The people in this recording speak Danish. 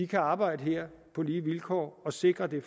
kan arbejde her på lige vilkår og sikre det